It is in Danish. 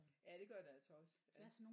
Ja det gør det altså også ja